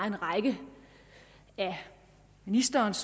en række af ministerens